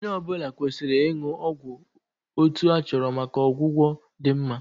Onye ọ bụla kwesịrị ịṅụ ọgwụ otu a chọrọ maka ọgwụgwọ dị mma